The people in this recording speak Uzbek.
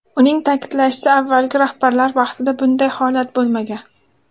Uning ta’kidlashicha, avvalgi rahbarlar vaqtida bunday holat bo‘lmagan.